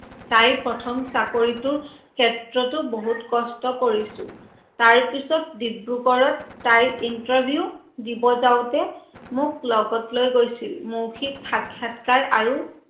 তাইৰ প্ৰথম চাকৰিটোৰ ক্ষেত্ৰতও বহুত কষ্ট কৰিছো, তাৰ পাছত দিব্ৰুগৰত তাই interview দিব যাওতে মোক লগত লৈ গৈছিল। মৌখিক সাখ্যাতকাৰ আৰু